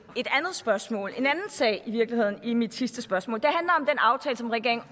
et andet spørgsmål i virkeligheden en i mit sidste spørgsmål det aftale som regeringen